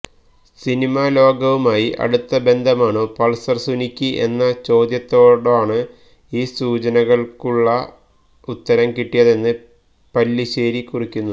cinema ലോകവുമായി അടുത്ത ബന്ധമാണോ പൾസർ സുനിക്ക് എന്ന ചോദ്യത്തോടാണ് ഈ സൂചനകളുള്ള ഉത്തരം കിട്ടിയതെന്ന് പല്ലിശ്ശേരി കുറിക്കുന്നു